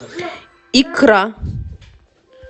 икра